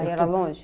Aí era longe?